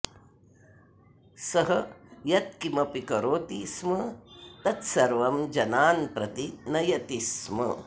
सः यद्किमपि करोति स्म तत्सर्वं जनान् प्रति नयति स्म